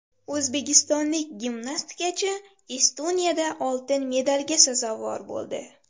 O‘zbekistonlik gimnastikachi Estoniyada oltin medalga sazovor bo‘ldi.